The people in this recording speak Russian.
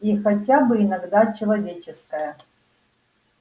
и хотя бы иногда человеческая